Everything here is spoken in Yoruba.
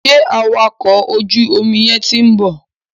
Sẹ́ awakọ̀ ojú omi yẹn ti ń bọ̀?